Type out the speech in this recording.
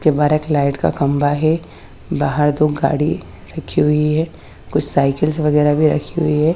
Light का खम्भा है बहर दो गाड़ी रखी हुई है कुछ साईकिल वगेरा भी रखी हुई है।